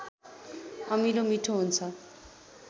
अमिलो मिठो हुन्छ